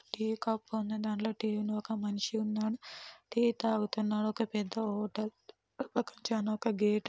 Tea cup ఉంది దాన్లో tea ఉంది ఒక మనిషి ఉన్నాడు. టీ తగుతునాడు ఒక పెద్ద హోటల్ ఒక చానా గేటు --